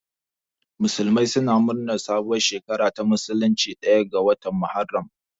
Musulmai suna murnar sabuwar shekara ta musulunci ɗaya ga watan Muharram.